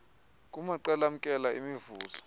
kumaqela amkela imivuzo